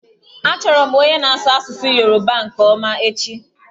Achọrọ m onye na-asụ asụsụ Yoruba nke ọma echi.